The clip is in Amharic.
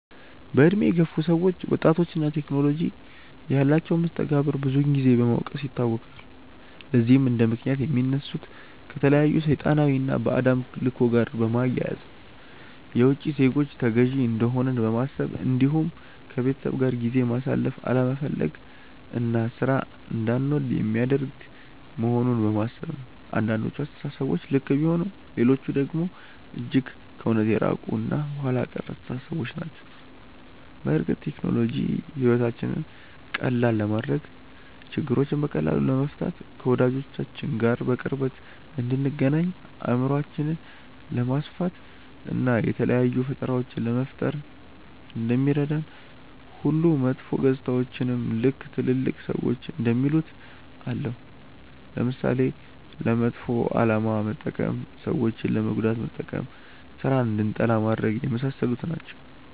በእድሜ የገፉ ሰዎች ወጣቶች እና ቴክኖሎጂ ያላቸውን መስተጋብር ብዙን ጊዜ በመውቀስ ይታወቃሉ። ለዚህም እንደምክንያት የሚያነሱት ከተለያዩ ሰይጣናዊ እና ባዕድ አምልኮ ጋር በማያያዝ፣ የውቺ ዜጎች ተገዢ እንደሆንን በማሰብ እንዲሁም ከቤተሰብ ጋር ጊዜ ማሳለፍ አለመፈለግ እና ሥራን እንዳንወድ የሚያደርግ መሆኑን በማሰብ ነው። አንዳንዶቹ አስተሳሰቦች ልክ ቢሆኑም ሌሎቹ ደግሞ እጅግ ከእውነት የራቁ እና ኋላ ቀር አስተሳሰቦች ናቸው። በእርግጥ ቴክኖሎጂ ሕይወታችንን ቀላል ለማድረግ፣ ችግሮችን በቀላሉ ለመፍታት፣ ከወዳጆቻችን ጋር በቅርበት እንድንገናኝ፣ አእምሯችንን ለማስፋት፣ እና የተለያዩ ፈጠራዎችን ለመፍጠር እንደሚረዳን ሁሉ መጥፎ ገፅታዎችም ልክ ትልልቅ ሰዎች እንደሚሉት አለው። ለምሳሌ፦ ለመጥፎ አላማ መጠቀም፣ ሰዎችን ለመጉዳት መጠቀም፣ ስራን እንድንጠላ ማድረግ፣ የመሳሰሉት ናቸው።